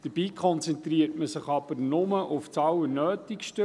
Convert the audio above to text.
Dabei konzentriert man sich aber nur auf das Allernötigste.